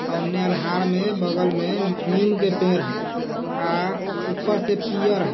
ओन्हे अन्हार में बगल में नीम के पेड़ है। आ ऊपर से पियर ह।